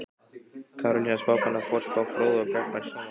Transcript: Karolína spákona, forspá fróð og gagnmerk sómakona.